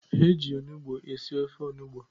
Eji onugbu e si ofe onugbu